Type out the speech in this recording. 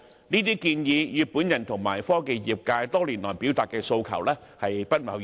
這些建議與我及科技業界多年來表達的訴求均不謀而合。